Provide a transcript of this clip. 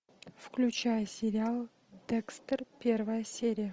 включай сериал декстер первая серия